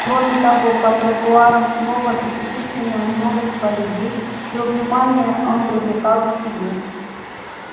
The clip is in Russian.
кроме того по тротуарам снова бесчисленное множество людей чьё внимание он привлекал к себе